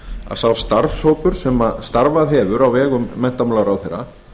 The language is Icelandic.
að sá starfshópur sem starfað hefur á vegum menntamálaráðherra